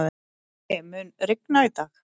Laugi, mun rigna í dag?